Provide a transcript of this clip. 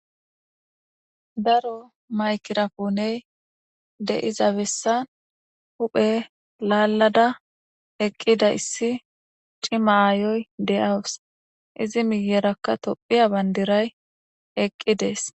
Daro maykira kouney de7iza bessan huphe lallada eqqida issi cimayoy de7awus izi miyerakka tophiya bandiray eqqi dees